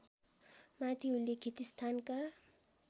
माथि उल्लेखित स्थानका